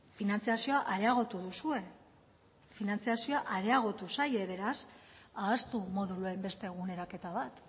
finantzazioa areagotu duzue finantzazioa areagotu zaie beraz ahaztu moduluen beste eguneraketa bat